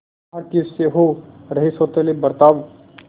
भारतीयों से हो रहे सौतेले बर्ताव